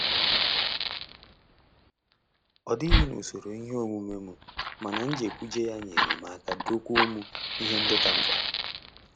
Ọ dighị n'usoro ihe omume m, mana njekwuje ya nyerem aka dokwuo m ihe ndị ka mkpa.